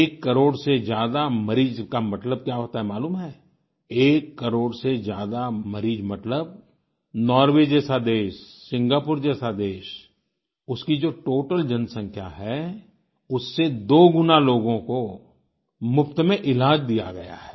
एक करोड़ से ज्यादा मरीज का मतलब क्या होता है मालूम है एक करोड़ से ज्यादा मरीज़ मतलब नॉर्वे जैसा देश सिंगापुर जैसा देश उसकी जो टोटल जनसँख्या है उससे दो गुना लोगों को मुफ्त में इलाज दिया गया है